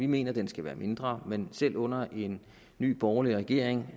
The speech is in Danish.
mener at den skal være mindre men selv under en ny borgerlig regering